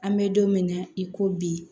An bɛ don min na i ko bi